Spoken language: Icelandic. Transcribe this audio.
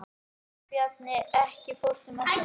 Sigurbjarni, ekki fórstu með þeim?